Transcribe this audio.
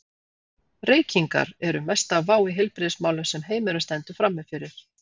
Reykingar eru mesta vá í heilbrigðismálum sem heimurinn stendur frammi fyrir.